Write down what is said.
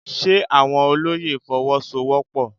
Ṣe àwọn olóyè Fọwọ́sowọ́pọ̀?